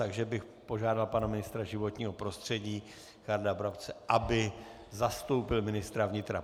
Takže bych požádal pana ministra životního prostředí Richarda Brabce, aby zastoupil ministra vnitra.